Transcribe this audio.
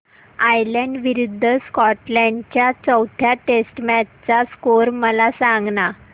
Ireland विरूद्ध Scotland च्या चौथ्या टेस्ट मॅच चा स्कोर मला सांगना